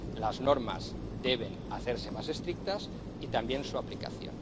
Las normas deben hacerse más estrictas y también su aplicación.